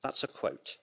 That's a quote.